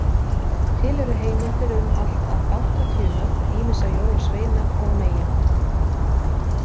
Til eru heimildir um allt að áttatíu nöfn ýmissa jólasveina og-meyja.